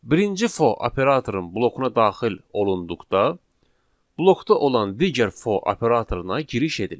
Birinci for operatorunun blokuna daxil olunduqda blokda olan digər for operatoruna giriş edilir.